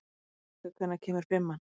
Eneka, hvenær kemur fimman?